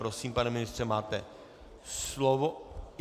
Prosím, pane ministře, máte slovo.